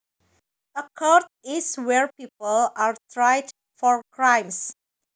A court is where people are tried for crimes